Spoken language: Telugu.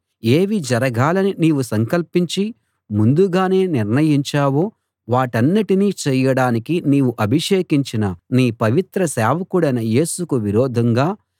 ఏవి జరగాలని నీవు సంకల్పించి ముందుగానే నిర్ణయించావో వాటన్నిటినీ చేయడానికి నీవు అభిషేకించిన నీ పవిత్ర సేవకుడైన యేసుకు విరోధంగా